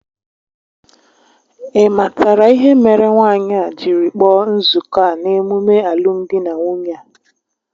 Ị matara ihe mere nwaanyị a jiri kpọọ nzuko a n'emume alụmdi na nwunye a?